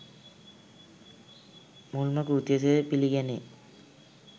මුල්ම කෘතිය සේ පිළිගැනේ.